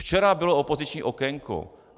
Včera bylo opoziční okénko.